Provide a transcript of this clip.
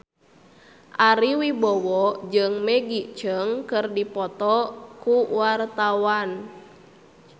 Ari Wibowo jeung Maggie Cheung keur dipoto ku wartawan